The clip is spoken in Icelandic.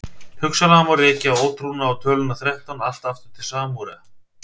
Hugsanlega má rekja ótrúna á töluna þrettán allt aftur til Súmera.